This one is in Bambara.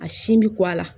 A sin bɛ ko a la